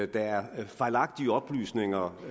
der er fejlagtige oplysninger